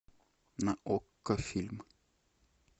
на окко фильм